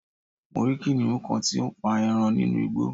mo rí kìnìhún kan tí ó ń pa eran nínú Igbo